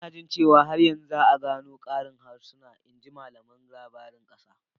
Ina jin cewa har yanzu za a gano ƙarin harsuna, in ji malamin labarin ƙasa.